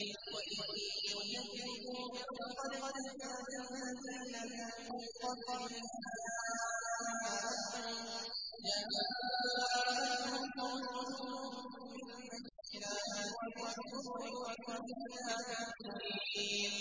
وَإِن يُكَذِّبُوكَ فَقَدْ كَذَّبَ الَّذِينَ مِن قَبْلِهِمْ جَاءَتْهُمْ رُسُلُهُم بِالْبَيِّنَاتِ وَبِالزُّبُرِ وَبِالْكِتَابِ الْمُنِيرِ